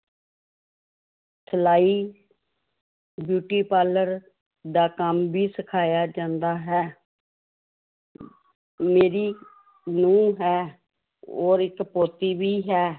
ਸਲਾਈ beauty parlor ਦਾ ਕੰਮ ਵੀ ਸਿਖਾਇਆ ਜਾਂਦਾ ਹੈ ਮੇਰੀ ਨੂੰਹ ਹੈ ਔਰ ਇੱਕ ਪੋਤੀ ਵੀ ਹੈ